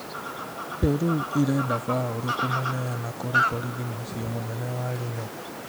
Peru ĩrenda Fauru kũmũneana kũrĩ borithi mũcĩĩ mũnene wa Lima